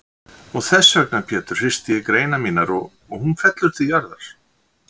Og þessvegna Pétur hristi ég greinar mínar og hún fellur til jarðar.